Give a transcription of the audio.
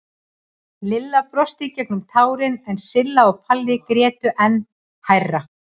Lilla brosti í gegnum tárin en Silla og Palla grétu enn hærra.